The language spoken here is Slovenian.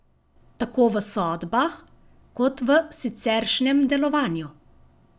Tako v sodbah kot v siceršnjem delovanju.